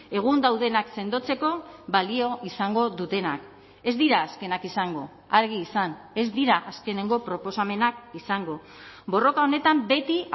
egun daudenak sendotzeko balio izango dutenak ez dira azkenak izango argi izan ez dira azkenengo proposamenak izango borroka honetan beti